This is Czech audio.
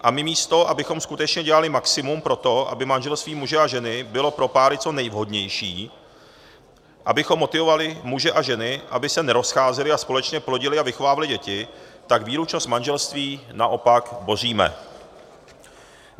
A my místo abychom skutečně dělali maximum pro to, aby manželství muže a ženy bylo pro páry co nejvhodnější, abychom motivovali muže a ženy, aby se nerozcházeli a společně plodili a vychovávali děti, tak výlučnost manželství naopak boříme.